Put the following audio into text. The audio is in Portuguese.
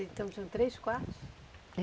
Então, tinham três quartos?